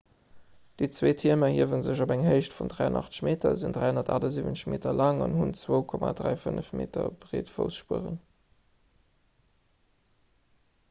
déi zwee tierm erhiewe sech op eng héicht vun 83 meter sinn 378 meter laang an hunn zwou 3,5 m breet fuerspueren